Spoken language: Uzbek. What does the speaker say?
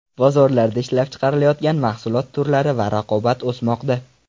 Bozorlarda ishlab chiqarilayotgan mahsulot turlari va raqobat o‘smoqda.